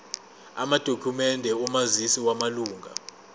amadokhumende omazisi wamalunga